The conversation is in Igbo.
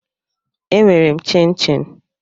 E nwere m chinchin